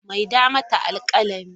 Maida mata alkalami!